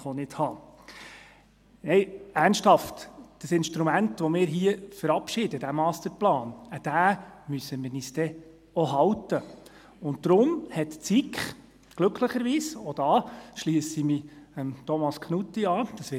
Nein, ernsthaft: Das Instrument, das wir hier verabschieden, diesen Masterplan, an diesen müssen wir uns dann auch halten, und deshalb hat die SiK glücklicherweise – auch da schliesse ich mich Thomas Knutti an ...